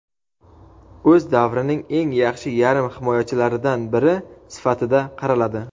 O‘z davrining eng yaxshi yarim himoyachilaridan biri sifatida qaraladi.